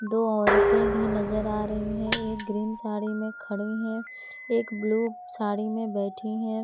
दो औरतें भी नजर आ रही है एक ग्रीन साड़ी में खड़ी हैं एक ब्लू साड़ी में बैठी हैं।